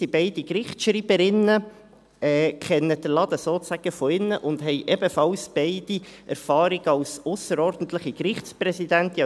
Beide sind Gerichtsschreiberinnen, kennen den Laden sozusagen von innen und haben ebenfalls beide Erfahrungen als ausserordentliche Gerichtspräsidentinnen.